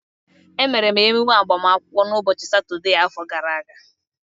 Emere m emume agbamakwụkwọ m ụbọchị Satọdee afọ gara aga